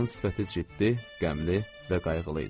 Onun sifəti ciddi, qəmli və qayğılı idi.